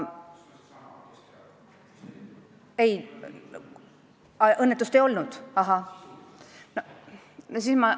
Kas õnnetust ei olnud?